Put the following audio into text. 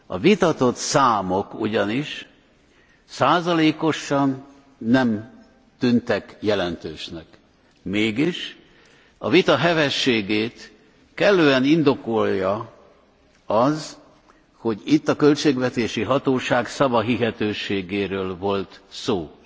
A vitatott számok ugyanis százalékosan nem tűntek jelentősnek, mégis, a vita hevességét kellően indokolja az, hogy itt a költségvetési hatóság szavahihetőségéről volt szó.